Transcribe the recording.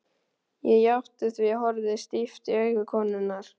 Ég játti því, horfði stíft í augu konunnar.